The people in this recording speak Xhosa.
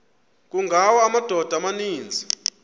kungawa amadoda amaninzi